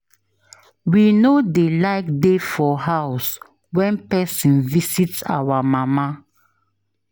We no dey like dey for house wen pesin visit our mama.